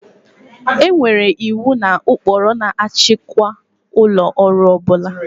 E nwere iwu na ụkpụrụ na-achịkwa ụlọ ọrụ ọ bụla